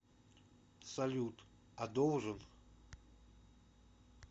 салют а должен